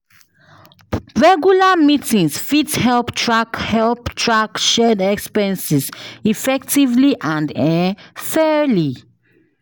Regular meetings fit help track help track shared expenses effectively and um fairly.